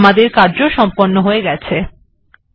ঠিকআছেআমাদের কার্য সম্পন্ন হয়ে গেছে